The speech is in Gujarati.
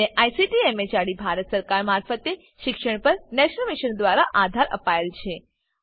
જેને આઈસીટી એમએચઆરડી ભારત સરકાર મારફતે શિક્ષણ પર નેશનલ મિશન દ્વારા આધાર અપાયેલ છે